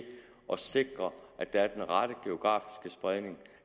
at sikre at der er den rette geografiske spredning